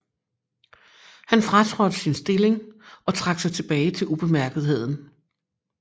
Han fratrådte sin stilling og trak sig tilbage til ubemærkethed